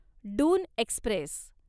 Doon Express